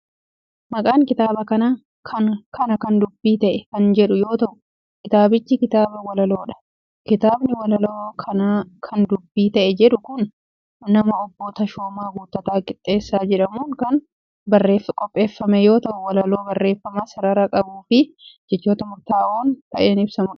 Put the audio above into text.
Maqaan kitaaba kanaa, Kana Kan Dubbii Ta'e kan jedhamu yoo ta'u, kitaabichi kitaaba walaloo dha. Kitaabni walaloo Kana Kan Dubbi Ta'e jedhamu kun nama Obbo Tashooma Guuttataa Qixxeessaa jedhamuun kan qopheeffame yoo ta'u, walaloon barreeffama sarara qabuu fi jechoota murtaa'oon ta'een ibsamuu dha.